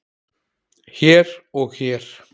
hér og hér.